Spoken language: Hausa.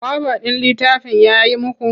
Kwaba ɗin littafin ya yi muku?